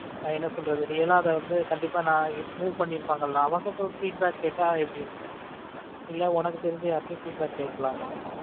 நான் என்ன சொல்றது real ஆ வந்து கண்டிப்பா நான் இப்ப move பண்ணி இருப்பாங்க இல்ல அவங்க கிட்ட ஒரு feedback கேட்டா எப்படி இருக்கும் இல்ல உனக்கு தெரிஞ்சா யார்கிட்டயும் feed back கேட்கலாமா